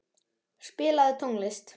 Enika, spilaðu tónlist.